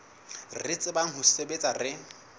re tsebang ho sebetsa re